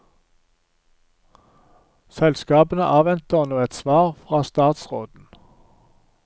Selskapene avventer nå et svar fra statsråden.